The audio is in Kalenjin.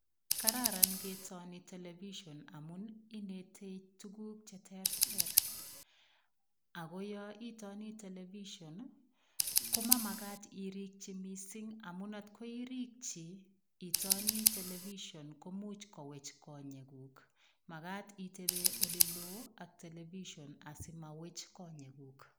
Kararan ing'etoni television amun inetei tukuk cheterter, ak ko yoon itoni television komamakat irikyi mising amun atkoirikyi itoni television komuch kowech konyekuk, makat iteben eleloo ak television asimowech konyekuk.